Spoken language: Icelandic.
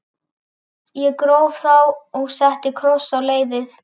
Ég gróf þá og setti kross á leiðið.